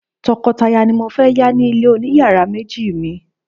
tokotaya ni mo fe ya ni ile oniyaara meji mi